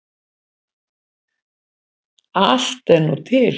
Allt er nú til.